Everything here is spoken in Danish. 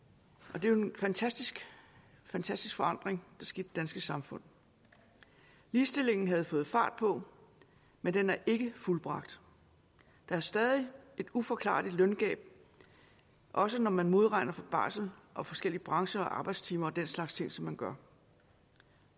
og det er jo en fantastisk fantastisk forandring der skete danske samfund ligestillingen havde fået fart på men den er ikke fuldbragt der er stadig et uforklarligt løngab også når man modregner for barsel og forskellige brancher og arbejdstimer og den slags som man gør